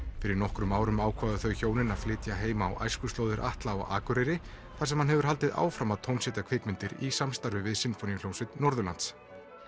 fyrir nokkrum árum ákváðu þau hjónin að flytja heim á æskuslóðir Atla á Akureyri þar sem hann hefur haldið áfram að tónsetja kvikmyndir í samstarfi við Sinfóníuhljómsveit Norðurlands